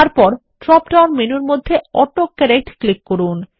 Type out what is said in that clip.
তারপর drop down মেনুর মধ্যে অটো কারেক্ট ক্লিক করুন